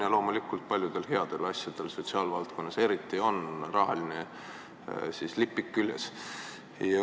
Ja loomulikult paljudel headel asjadel, sotsiaalvaldkonnas eriti, on rahalipik küljes.